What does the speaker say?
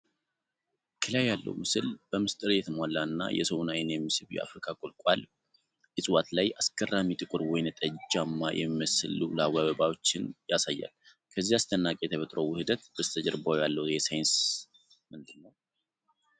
ከላይ ያለው ምስል በምስጢር የተሞላ እና የሰውን አይን የሚስብ የአፍሪካ ቁልቋል (euphorbia) እጽዋት ላይ አስገራሚ ጥቁር ወይንጠጃማ የሚመስሉ ሉላዊ አበባዎችን ያሳያል፡ ከዚህ አስደናቂ የተፈጥሮ ውህደት በስተጀርባ ያለው ሳይንስ ምንድን ነው?